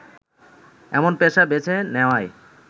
এমন পেশা বেছে নেয়ায়